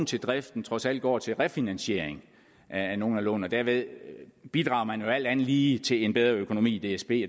til driften trods alt går til refinansiering af nogle af lånene derved bidrager man jo alt andet lige til en bedre økonomi i dsb